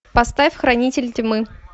поставь хранитель тьмы